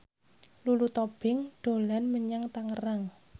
Lulu Tobing dolan menyang Tangerang